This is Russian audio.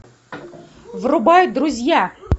врубай друзья